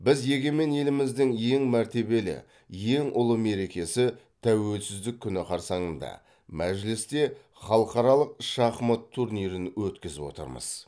біз егемен еліміздің ең мәртебелі ең ұлы мерекесі тәуелсіздік күні қарсаңында мәжілісте халықаралық шахмат турнирін өткізіп отырмыз